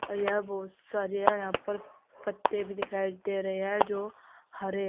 और यहां बहुत सारे यहां पर पत्ते भी दिखाई दे रहे है जो हरे है।